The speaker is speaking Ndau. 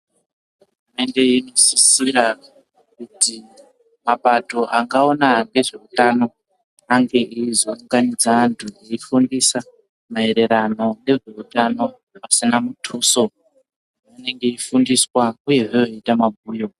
Hurumende inosisira kuti mapato angaona ngezveutano ange eizounganidza vanhu veifundisa maererano ngezveutano pasina mutuso. Vanenge veifundiswa uyehe veiite mabhuyo.